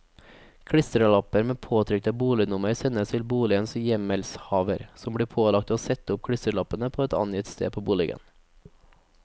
Klistrelapper med påtrykt bolignummer sendes boligens hjemmelshaver, som blir pålagt å sette opp klistrelappene på et angitt sted på boligen.